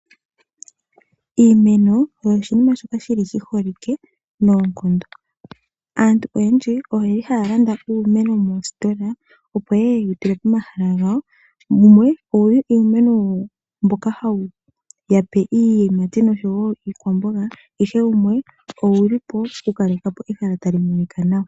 Iimeno oyo oshinima shoka shili shiholike noonkondo. Aantu oyendji oye li haya landa uumeno mositola opo yeye yewu tule pomahala gawo, wumwe owuli uumeno mboka hawu ya pe iiyimati noshowo iikwamboga, ihe wumwe owuli po oku kaleka po ehala tali monika nawa.